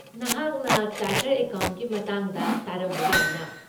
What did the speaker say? ꯅꯍꯥꯛꯅ ꯆꯥꯔꯇꯔꯗ ꯑꯦꯀꯥꯎꯟꯇꯦꯟꯠꯀꯤ ꯃꯇꯥꯡꯗ ꯇꯥꯔꯝꯕ ꯌꯥꯏꯅꯥ?